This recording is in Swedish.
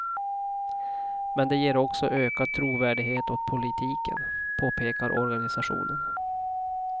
Men det ger också ökad trovärdighet åt politiken, påpekar organisationen.